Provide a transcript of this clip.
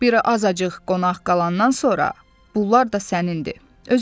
Biri azacıq qonaq qalandan sonra, bunlar da sənindi.